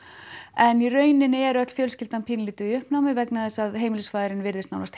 en í rauninni er öll fjölskyldan í uppnámi vegna þess að heimilisfaðirinn virðist